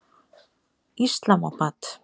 Islamabad